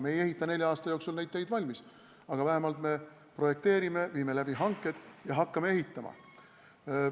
Me ei ehita nelja aasta jooksul neid teid valmis, aga vähemalt me projekteerime, teeme hanked ja hakkame ehitama.